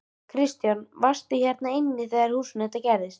Kristján: Varstu hér inni í húsinu þegar þetta gerðist?